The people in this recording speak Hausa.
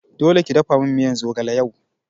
Dole ki dafamin miyan zogale yau